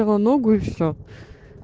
его ногу и все